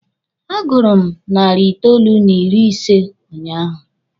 A gụrụ m narị itoolu n'ịrị ise unyaahụ.